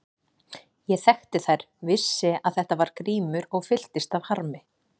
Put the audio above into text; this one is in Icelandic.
Ég þekkti þær, vissi að þetta var Grímur og fylltist af harmi.